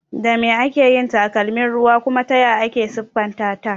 Da me ake yin takalmin ruwa kuma taya ake siffanta ta?